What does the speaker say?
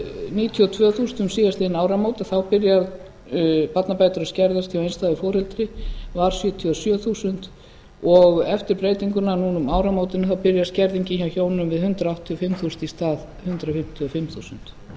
níutíu og tvö þúsund um síðastliðin áramót en þá byrja barnabætur að skerðast hjá einstæðu foreldri var sjötíu og sjö þúsund en eftir breytinguna núna um áramótin þá byrjar skerðingin hjá hjónum við hundrað áttatíu og fimm þúsund í stað hundrað fimmtíu og fimm þúsund